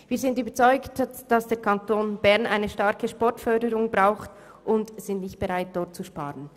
Wir sind überzeugt, dass der Kanton Bern eine starke Sportförderung braucht, und wir sind nicht bereit, dort zu sparen.